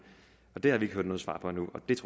og det har vi ikke hørt noget svar